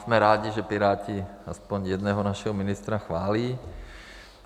Jsme rádi, že Piráti aspoň jednoho našeho ministra chválí.